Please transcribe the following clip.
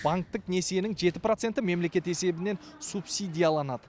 банктік несиенің жеті проценті мемлекет есебінен субсидияланады